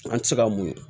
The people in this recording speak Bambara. An tɛ se ka mun